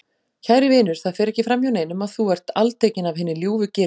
Kæri vinur, það fer ekki framhjá neinum að þú er altekinn af hinni ljúfu girnd